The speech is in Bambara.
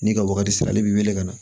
N'i ka waagati sera ale b'i wele ka na